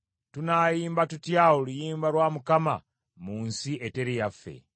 Tunaayimba tutya oluyimba lwa Mukama mu nsi eteri yaffe?